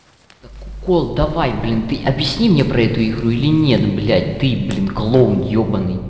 так укол давай блин ты объясни мне про эту игру или нет блять ты блин клоун ёбаный